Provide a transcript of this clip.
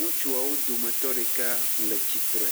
ŋutsuawo dometɔ ɖeka le tsitre.